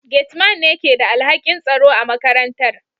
Gate Man ne ke da alhakin tsaro a makarantar